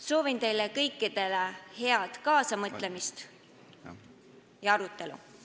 Soovin teile kõikidele head kaasamõtlemist ja arutelu.